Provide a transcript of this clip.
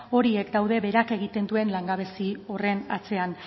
horiek daude beheraka egiten duen langabezia horren atzean